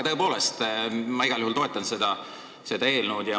Tõepoolest, ma igal juhul toetan seda eelnõu.